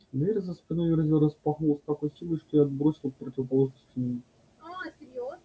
дверь за спиной верзилы распахнулась с такой силой что его отбросило к противоположной стене